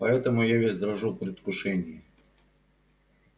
поэтому я весь дрожу в предвкушении